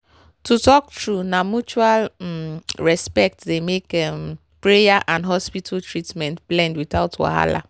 to talk true na mutual um respect dey make um prayer and hospital treatment blend without wahala.